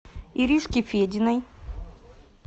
иришке фединой